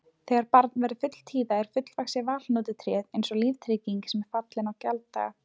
Þegar barn verður fulltíða er fullvaxið valhnotutréð eins og líftrygging sem er fallin í gjalddaga.